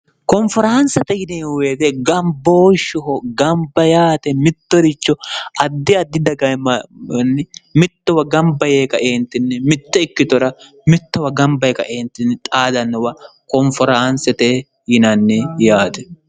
konferaansete yineehuweete gambooshshoho gamba yaate mittoricho addi addi dagaemmaanni mittowa gamba yee kaeentinni mitte ikkitora mittowa gamba ye kaeentinni xaadannowa konferaansete yinanni yaate